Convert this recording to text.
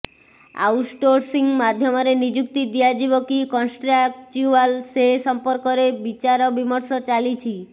outsourcing ମାଧ୍ୟମରେ ନିଯୁକ୍ତି ଦିଆଯିବ କି କଣ୍ଟ୍ରାକ୍ଚ୍ୟୁଆଲ ସେ ସମ୍ପର୍କରେ ବିଚାରବିମର୍ଶ ଚାଲିଛି